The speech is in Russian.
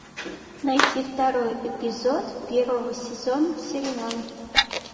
найти второй эпизод первого сезона сериала